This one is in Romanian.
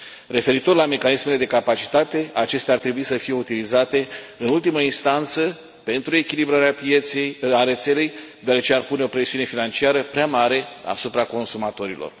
Referitor la mecanismele de capacitate, acestea ar trebui să fie utilizate în ultimă instanță, pentru echilibrarea rețelei, deoarece ar pune o presiune financiară prea mare asupra consumatorilor.